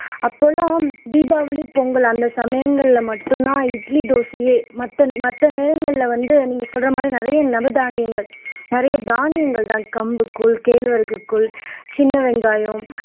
அப்பல்லாம் தீபாவளி பொங்கல் அந்த சமயங்கள்ல மட்டும்தான் இட்லி தோசையே மத்தன் மத்த நேரங்கள்ல வந்து நீங்க சொல்ற மாதிரி நிறைய நவதானியங்கள் நிறைய தானியங்கள்தான் கம்பு கூழ் கேழ்வரகு கூழ் சின்ன வெங்காயம்